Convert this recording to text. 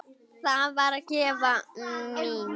Það varð gæfa mín.